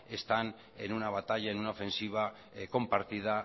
están en una batalla en una ofensiva compartida